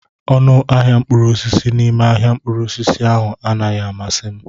Ọnụ ahịa mkpụrụ osisi n'ime ahịa mkpụrụ osisi ahụ anaghị amasị m.